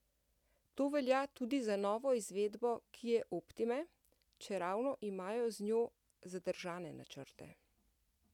To velja tudi za novo izvedbo kie optime, čeravno imajo z njo zadržane načrte.